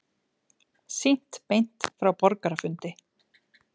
Sýnt beint frá borgarafundi